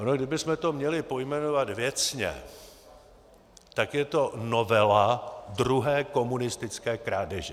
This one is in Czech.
Ono kdybychom to měli pojmenovat věcně, tak je to novela druhé komunistické krádeže.